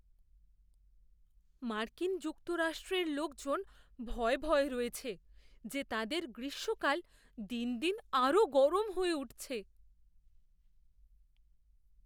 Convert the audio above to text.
মার্কিন যুক্তরাষ্ট্রের লোকজন ভয়ে ভয়ে রয়েছে যে তাদের গ্রীষ্মকাল দিন দিন আরও গরম হয়ে উঠছে।